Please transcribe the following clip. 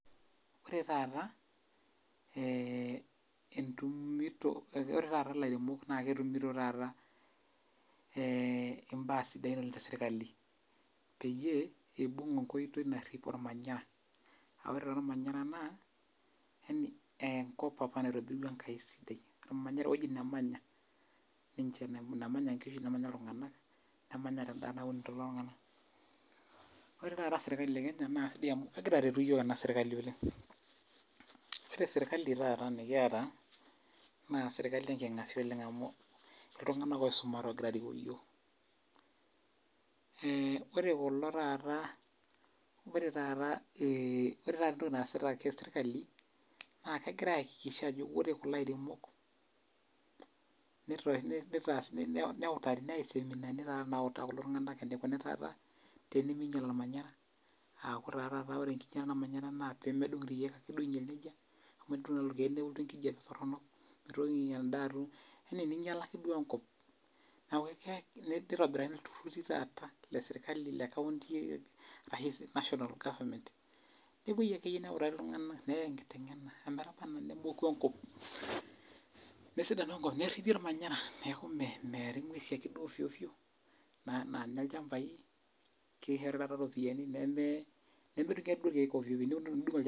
Ore taata, eh entumito ore taata ilairemok na ketumito taata imbaa sidain oleng tesirkali. Peyie, ibung' enkoitoi narrip ormanyara. Ah ore taa ormanyara naa, yani enkop apa naitobirua Enkai sidai. Ormanyara ewoji namanya ninche, namanya nkishu nemanya iltung'anak, nemanya endaa nauniyo lelo tung'anak. Ore taata serkali e Kenya, na sidai amu kegira aretu yiok ena sirkali oleng. Ore sirkali taata nikiata, na sirkali enking'asia oleng amu iltung'anak oisumate ogira arikoo yiok. Ore kulo taata, ore taata ore taata entoki naasita ake sirkali, na kegira aakikisha ajo ore kulo airemok, neutari, neyai iseminani taata nautaa kulo tung'anak enikuni taata teniminyal ormanyara, aku taa taata ore enkinyalata ormanyara naa pemedung' irkeek duo ainyel nejia, amu enidung' irkeek nelotu enkijape torronok, mitoki endaa atum yani ninyala ake duo enkop. Neeku nitobirakini ilturrurri taata lesirkali lekaunti arashu National Government, nepoi akeyie neutari iltung'anak neyai enkiteng'ena ometaba enaa nemoku enkop. Nesidanu enkop nerripi ormanyara neeku meeri ng'uesi akeduo ofio ofio naanya ilchambai, kishori taata ropiyiani nemedung'i irkeek ofio ofio, neku enidung' olchani